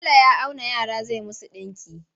Tela ya auna yara zai musu ɗinki.